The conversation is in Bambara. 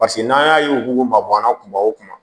Paseke n'an y'a ye u b'u mabɔ an na kuma o kuma